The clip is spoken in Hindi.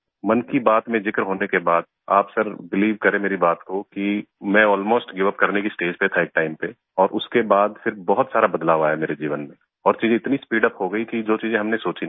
मन की बात में जिक्र होने के बाद आप सर बिलीव करें मेरी बात को कि मैं अलमोस्ट गिवअप करने की स्टेज पर था एक टाइम पे और उसके बाद फिर बहुत सारा बदलाव आया मेरे जीवन में और चीजें इतनी स्पीडअप हो गई कि जो चीजें हमने सोची नहीं थी